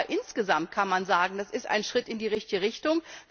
Aber insgesamt kann man sagen, das ist ein Schritt in die richtige Richtung.